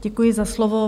Děkuji za slovo.